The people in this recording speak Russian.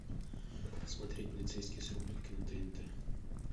смотреть полицейский с рублевки на тнт